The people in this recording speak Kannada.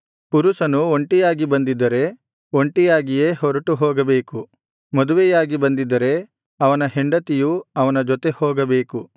ಪುರುಷನು ಒಂಟಿಯಾಗಿ ಬಂದಿದ್ದರೆ ಒಂಟಿಯಾಗಿಯೇ ಹೊರಟುಹೋಗಬೇಕು ಮದುವೆಯಾಗಿ ಬಂದಿದ್ದರೆ ಅವನ ಹೆಂಡತಿಯೂ ಅವನ ಜೊತೆ ಹೋಗಬೇಕು